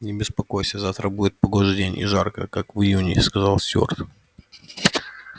не беспокойся завтра будет погожий день и жарко как в июне сказал стюарт